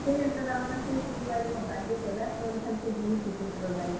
ସେ ଜେନ୍ତା ତାର୍ ମାନେ ଖୁସ୍ ହେଇ ଯିବା ଯେ ମୋର୍ birthday କେଭେ ଆସ୍ ବା ବଲି ଖାଲି ସେ ଜୁଗିଥିସି ହେଥିରର୍ ଲାଗି।